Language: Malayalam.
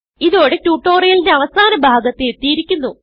ഇതോടെ ട്യൂട്ടോറിയലിന്റെ അവസാന ഭാഗത്ത് എത്തിയിരിക്കുന്നു